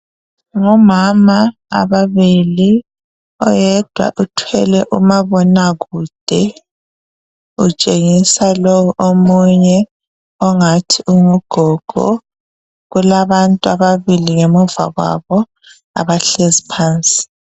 Ngomama ababili oyedwa uthwele umabonakude utshengisa lowu omunye ongathi ungugogo kulabantu ababili ngemuva kwabo abahlezi phansi.